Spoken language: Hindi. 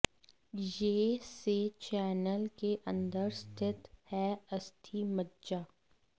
यह से चैनल के अंदर स्थित है अस्थि मज्जा